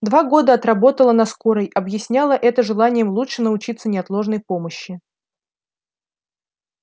два года отработала на скорой объясняла это желанием лучше научиться неотложной помощи